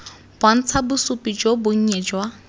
bontsha bosupi jo bonnye jwa